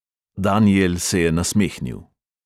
Danijel se je nasmehnil.